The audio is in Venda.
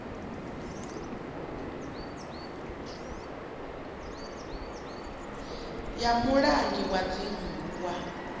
ya mulangi wa dzingu wa